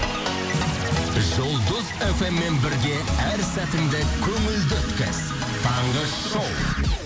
жұлдыз эф эм мен бірге әр сәтіңді көңілді өткіз таңғы шоу